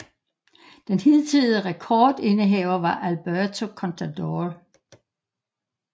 Den hidtidige rekord indehaver var Alberto Contador